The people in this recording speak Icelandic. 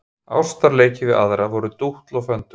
Ástarleikir við aðra voru dútl og föndur.